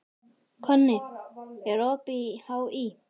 Konni, er opið í HÍ?